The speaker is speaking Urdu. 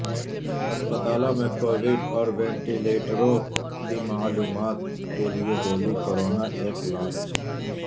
اسپتالو ں میں کویڈ اور وینٹیلیٹرو ں کی معلومات کیلئے Delhi corona app launch